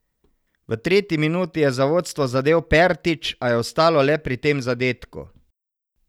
V tretji minuti je za vodstvo zadel Pertič, a je ostalo le pri tem zadetku.